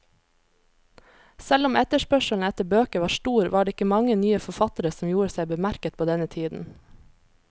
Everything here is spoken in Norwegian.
Selv om etterspørselen etter bøker var stor, var det ikke mange nye forfattere som gjorde seg bemerket på denne tiden.